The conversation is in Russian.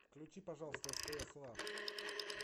включи пожалуйста стс лав